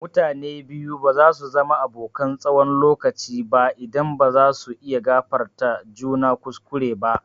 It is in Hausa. Mutane biyu ba zasu zama abokan tsawon lokaci ba idan ba zasu iya gafartawa juna kuskure ba.